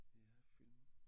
Ja film